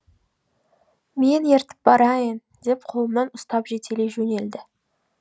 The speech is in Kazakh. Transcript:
мен ертіп барайын деп қолымнан ұстап жетелей жөнелді